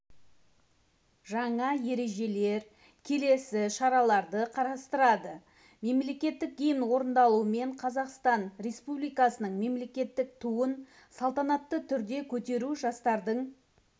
жаңа ережелер келесі шараларды қарастырады мемлекеттік гимн орындалуымен қазақстан республикасының мемлекеттік туын салтанатты түрде көтеру жастардың